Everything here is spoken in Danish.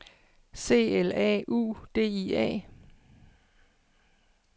C L A U D I A